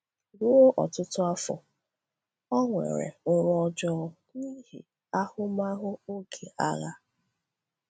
Ruo ọtụtụ afọ ọ nwere nrọ ọjọọ n’ihi ahụmahụ oge agha.